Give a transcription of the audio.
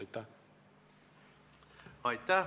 Aitäh!